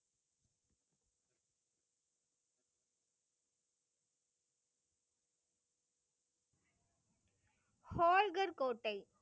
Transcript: ஹோல்கர் கோட்டை.